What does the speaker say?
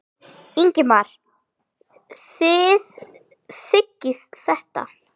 Ingimar: Þið þiggið þetta?